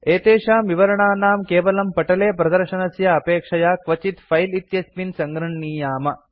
एतेषां विवरणानां केवलं पटले प्रदर्शनस्य अपेक्षया क्वचित् फिले इत्यस्मिन् सङ्गृह्णीयाम